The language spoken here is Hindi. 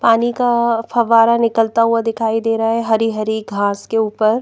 पानी का फव्वारा निकलता हुआ दिखाई दे रहा है हरी-हरी घास के ऊपर।